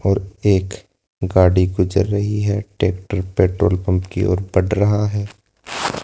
और एक गाड़ी गुजर रही है एक पेट्रोल पंप की ओर बढ़ रहा है।